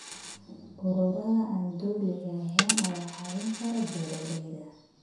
Ururada aan dowliga ahayn ayaa caawin kara beeralayda.